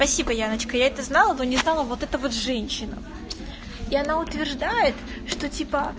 спасибо яночка я это знала но не знала вот это вот женщина и она утверждает что типа